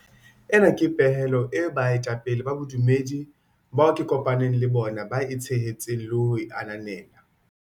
Ena ke pehelo eo baetapele ba bodumedi bao ke kopa neng le bona ba e tshehetsang le ho e ananela.